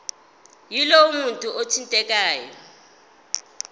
yalowo muntu othintekayo